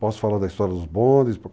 Posso falar da história dos bondes.